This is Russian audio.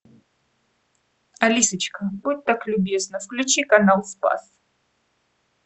алисочка будь так любезна включи канал спас